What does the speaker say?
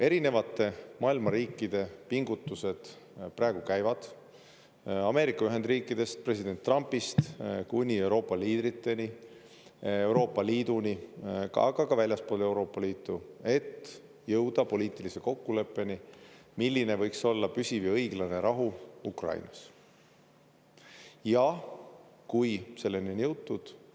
Erinevate maailma riikide pingutused praegu käivad, Ameerika Ühendriikidest, president Trumpist kuni Euroopa liidriteni, Euroopa Liiduni, aga ka väljaspool Euroopa Liitu, et jõuda poliitilise kokkuleppeni, milline võiks olla püsiv ja õiglane rahu Ukrainas, kui selleni on jõutud.